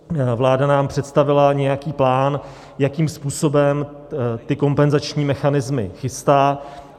Vláda nám představila nějaký plán, jakým způsobem ty kompenzační mechanismy chystá.